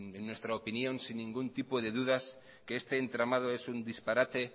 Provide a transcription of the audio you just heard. nuestra opinión sin ningún tipo de dudas que este entramada en un disparate